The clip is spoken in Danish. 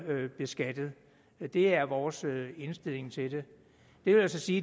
beskattet det er vores indstilling til det det vil altså sige